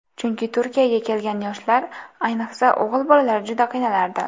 Chunki Turkiyaga kelgan yoshlar, ayniqsa, o‘g‘il bolalar juda qiynalardi.